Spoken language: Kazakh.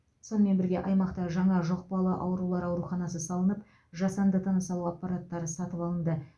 сонымен бірге аймақта жаңа жұқпалы аурулар ауруханасы салынып жасанды тыныс алу аппараттары сатып алынды